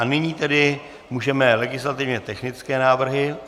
A nyní tedy můžeme legislativně technické návrhy.